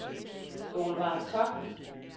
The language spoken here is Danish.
Solvejg Koch